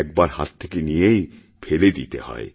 এক বার হাত থেকে নিয়েইফেলে দিতে হয়